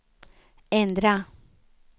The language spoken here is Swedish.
ändra